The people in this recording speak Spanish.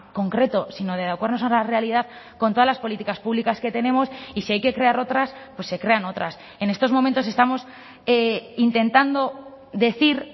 concreto sino de adecuarnos a la realidad con todas las políticas públicas que tenemos y si hay que crear otras pues se crean otras en estos momentos estamos intentando decir